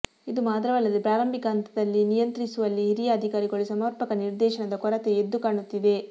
ಇದು ಮಾತ್ರವಲ್ಲದೆ ಪ್ರಾರಂಭಿಕ ಹಂತದಲ್ಲಿನಿಯಂತ್ರಿಸುವಲ್ಲಿಹಿರಿಯ ಅಧಿಕಾರಿಗಳು ಸಮರ್ಪಕ ನಿರ್ದೇಶನದ ಕೊರತೆ ಎದ್ದು ಕಾಣುತ್ತಿದೆ